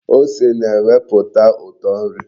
Ose na-eweputa uto nri.